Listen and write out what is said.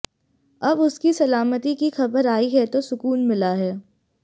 अब उसकी सलामती की खबर आई है तो सुकून मिला है